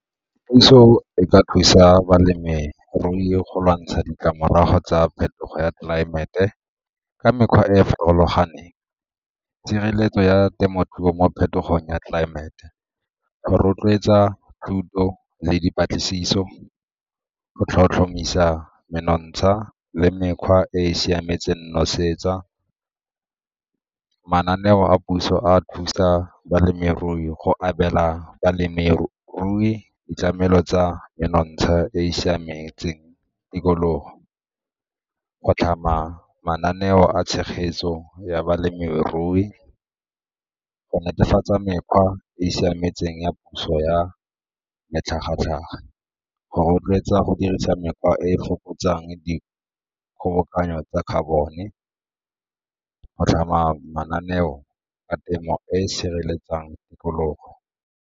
Puso e ka thusa balemirui go lwantsha ditlamorago tsa phetogo ya tlelaemete ka mekgwa e e farologaneng, tshireletso ya temothuo mo phetogong ya tlelaemete, go rotloetsa thuto le dipatlisiso, go tlhotlhomisa menontsha le mekgwa e e siametseng nosetsa, mananeo a puso a thusa balemirui go abela balemirui ditlamelo tsa monontsha e e siametseng tikologo, go tlhama mananeo a tshegetso ya balemirui, go netefatsa mekgwa e e siametseng ya puso ya matlhagatlhaga, go rotloetsa go dirisa mekgwa e e fokotsang di kgobokanyo tsa carbon-e, go tlhama mananeo a temo e e sireletsang tikologo.